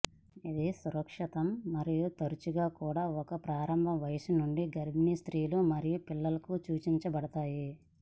ఇది సురక్షితం మరియు తరచుగా కూడా ఒక ప్రారంభ వయస్సు నుండి గర్భిణీ స్త్రీలు మరియు పిల్లలకు సూచించబడతాయి